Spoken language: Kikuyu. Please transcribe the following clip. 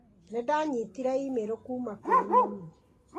Nĩ ndanyitire e-mail kuuma kũrĩ mami.